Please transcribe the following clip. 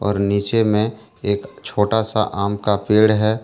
और नीचे में एक छोटा सा आम का पेड़ है।